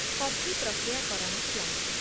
coffee ପ୍ରକ୍ରିୟାକରଣ plant